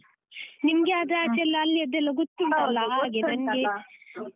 ನಿಮ್ಗೆ ಆದ್ರೆ ಆಚೆಯೆಲ್ಲ ಅಲ್ಲಿಯದೆಲ್ಲ ಗೊತ್ತುಂಟಲ್ಲಾ .